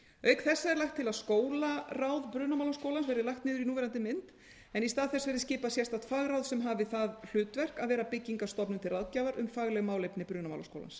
auk þessa er lagt til að skólaráð brunamálaskólans verði lagt niður í núverandi mynd en í stað þess verði skipað sérstakt fagráð sem hafi það hlutverk að vera byggingarstofnun til ráðgjafar um fagleg málefni brunamálaskólans